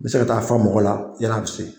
bɛ se ka taa fa mɔgɔ la yanni a bi se.